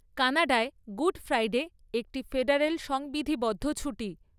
কানাডায়, Good Friday একটি federal সংবিধিবদ্ধ ছুটি।